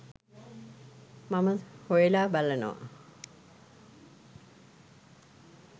මම හොයලා බලනවා.